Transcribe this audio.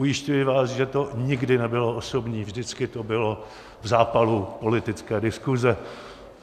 Ujišťuji vás, že to nikdy nebylo osobní, vždycky to bylo v zápalu politické diskuze.